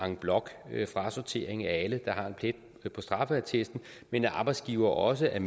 en bloc frasortering af alle der har en plet på straffeattesten men at arbejdsgivere også er